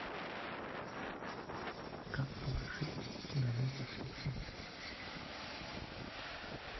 как положить деньги на номер телефона